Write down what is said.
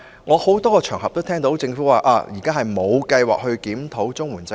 我在很多場合中也聽到，政府指現時並無計劃檢討綜援制度。